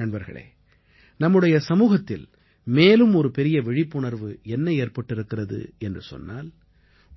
நண்பர்களே நம்முடைய சமூகத்தில் மேலும் ஒரு பெரிய விழிப்புணர்வு என்ன ஏற்பட்டிருக்கிறது என்று சொன்னால்